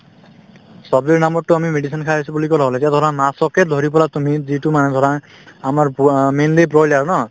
ছব্জিৰ নামটো এতিয়া medicine খাই আছো বুলি কলে হল এতিয়া ধৰা মাছকে ধৰি পেলাই তুমি যিটো মানে ধৰা আমাৰ box অ mainly broiler ন